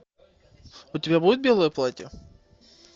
у тебя будет белое платье